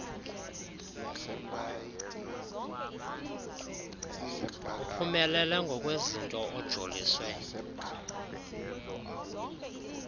uphumelele ngokwezinto ojoliswe